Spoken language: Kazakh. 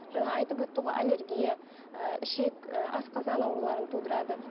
жаңа айтып өтті ғой аллергия ііі ішек і асқазан ауруларын тудырады